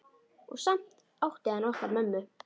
Og samt átti hann okkur mömmu.